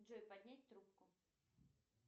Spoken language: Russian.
джой поднять трубку